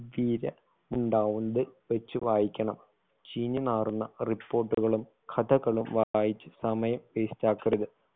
ഉണ്ടാവോണ്ട് വെച്ചു വായിക്കണം ചീഞ്ഞു നാറുന്ന report കളും കഥകളും വായിച്ച് സമയം waste ആക്കരുത്